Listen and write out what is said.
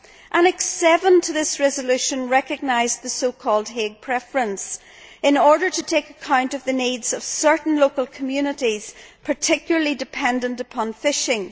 Annex 7 to this resolution recognised the so called Hague preference' in order to take account of the needs of certain local communities particularly dependent upon fishing.